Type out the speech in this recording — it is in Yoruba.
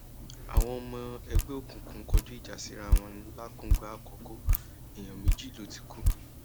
àwọn ọmọ ẹgbẹ òkùnkùn kọjú ìjà síra wọn làkúngbààkókò èèyàn méjì ló ti kú